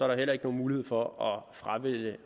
der heller ikke nogen mulighed for at fravælge